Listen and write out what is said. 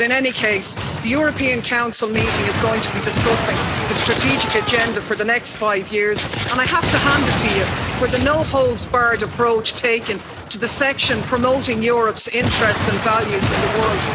In any case, the European Council meeting is going to be discussing the strategic agenda for the next five years, and I have to hand it to you for the no-holds-barred approach taken to the section promoting Europe's interests and values in the world.